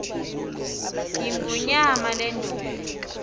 yingonyama le ndoda